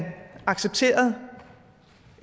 accepterede